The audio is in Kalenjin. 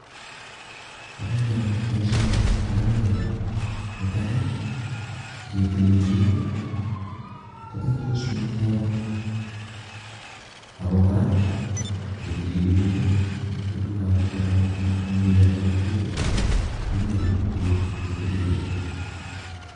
Bo komonut boisoni, amunee ko ni. Netai, ng'etilil beek, kobetos myanwogik. Ago kora, ng'etilili beek ko biikab goronotono anan biikab kokwet konyoru beek che tililen